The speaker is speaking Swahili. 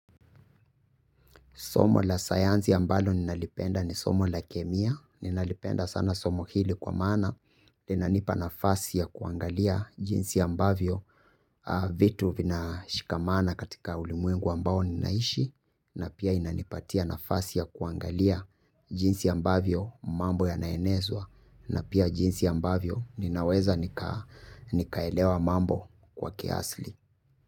Somo la sayanzi ambalo ninalipenda ni somo la kemia, ninalipenda sana somo hili kwa mana, inanipa nafasi ya kuangalia jinsi ambavyo, vitu vina shikamana katika ulimuengu ambao ninaishi, na pia inanipatia nafasi ya kuangalia jinsi ambavyo mambo yanaenezwa, na pia jinsi ambavyo ninaweza nikaelewa mambo kwa kiasli.